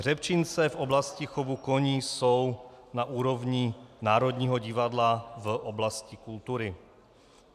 Hřebčince v oblasti chovu koní jsou na úrovni Národního divadla v oblasti kultury.